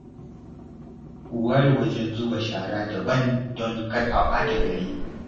Ku ware wajen zuba shara daban don kar a ɓata gari